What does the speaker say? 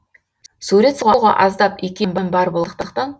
сурет салуға аздап икемім бар болғандықтан